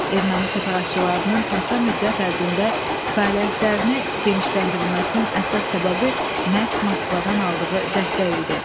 Erməni separatçılarının qısa müddət ərzində fəaliyyətlərini genişləndirilməsinin əsas səbəbi məhz Moskvadan aldığı dəstək idi.